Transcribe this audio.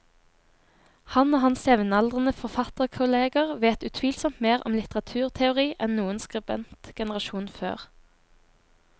Han og hans jevnaldrende forfatterkolleger vet utvilsomt mer om litteraturteori enn noen skribentgenerasjon før.